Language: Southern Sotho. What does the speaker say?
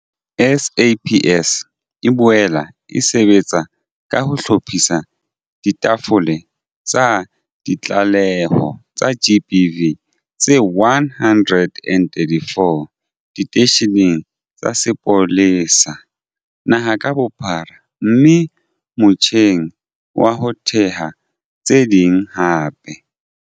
SAPS e boela e sebetsa ka ho hlophisa ditafole tsa ditlaleho tsa GBV tse 134 diteisheneng tsa sepolesa naha ka bophara mme e motjheng wa ho theha tse ding hape.